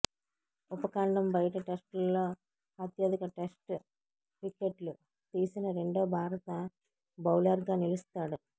ఉపఖండం బయట టెస్టుల్లో అత్యధిక టెస్టు వికెట్లు తీసిన రెండో భారత బౌలర్గా నిలుస్తాడు